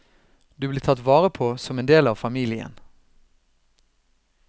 Du blir tatt vare på som en del av familien.